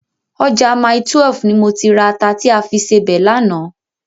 Ọjà Mile12 ni mo ti ra ata ta fi sebẹ̀ lánàá.